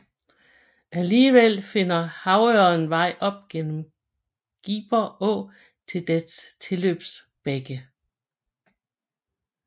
Alligevel finder havørreden vej op gennem Giber Å til dens tilløbsbække